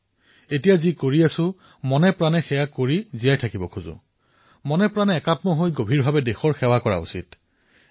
এতিয়া মনেপ্ৰাণে যতেই আছো সেয়া সম্পূৰ্ণৰূপে জীয়াব লাগে জীৱন পৰ্যন্ত জড়িত হব লাগে আৰু মনেপ্ৰাণে দেশৰ হকে কাম কৰিব লাগে